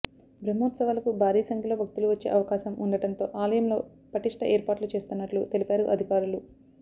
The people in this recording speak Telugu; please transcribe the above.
బ్రహ్మోత్సవాలకు భారీ సంఖ్యలో భక్తులు వచ్చే అవకాశం ఉండటంతో ఆలయంలో పటిష్ట ఏర్పాట్లు చేస్తున్నట్లు తెలిపారు అధికారులు